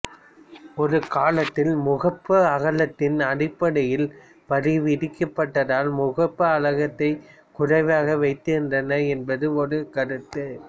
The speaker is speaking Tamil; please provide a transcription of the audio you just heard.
ஒரு காலத்தில் முகப்பு அகலத்தின் அடிப்படையில் வரி விதிக்கப்பட்டதால் முகப்பு அகலத்தைக் குறைவாக வைத்திருந்தனர் என்பது ஒரு கருத்து